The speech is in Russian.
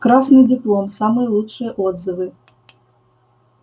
красный диплом самые лучшие отзывы